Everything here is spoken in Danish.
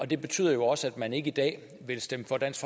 det betyder også at man ikke i dag vil stemme for dansk